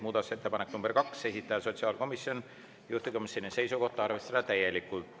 Muudatusettepanek nr 2, esitaja on sotsiaalkomisjon, juhtivkomisjoni seisukoht on arvestada seda täielikult.